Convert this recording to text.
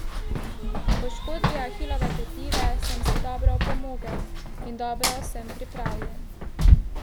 Po poškodbi ahilove tetive sem si dobro opomogel in dobro sem pripravljen.